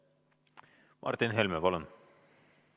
Martin Helme, palun!